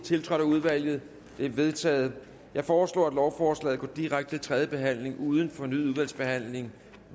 tiltrådt af udvalget det er vedtaget jeg foreslår at lovforslaget går direkte til tredje behandling uden fornyet udvalgsbehandling